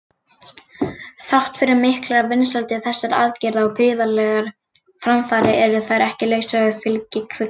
Þrátt fyrir miklar vinsældir þessara aðgerða og gríðarlegar framfarir eru þær ekki lausar við fylgikvilla.